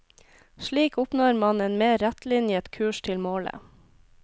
Slik oppnår man en mer rettlinjet kurs til målet.